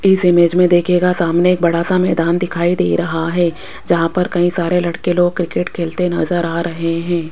इस इमेज मे देखियेगा सामने एक बड़ा सा मैदान दिखाई दे रहा है जहां पर कही सारे लड़के लोग क्रिकेट खेलते नजर आ रहे है।